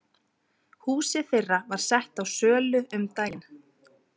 Húsið þeirra var sett á sölu um daginn.